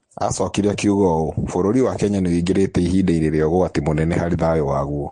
Aacokire akiuga ũũ: "vũrũri wa Kenya nĩ ũingĩvĩte ivinda-inĩ rĩa ũgwati mũnene varĩ thayũ waguo.